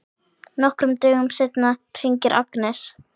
Nokkrum dögum seinna hringir Agnes.